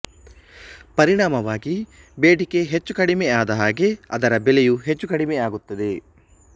ಪರಿಣಾಮವಾಗಿ ಬೇಡಿಕೆ ಹೆಚ್ಚುಕಡಿಮೆ ಆದ ಹಾಗೆ ಅದರ ಬೆಲೆಯೂ ಹೆಚ್ಚು ಕಡಿಮೆ ಆಗುತ್ತದೆ